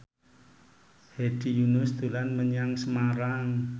Hedi Yunus dolan menyang Semarang